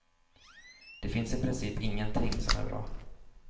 Det finns i princip ingenting som är bra.